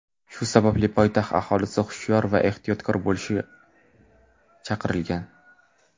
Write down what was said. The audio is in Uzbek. Shu sababli poytaxt aholisi hushyor va ehtiyotkor bo‘lishga chaqirilgan.